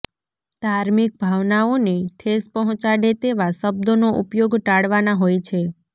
ધાર્મિક ભાવનાઓને ઠેસ પહોંચાડે તેવા શબ્દોનો ઉપયોગ ટાળવાના હોય છે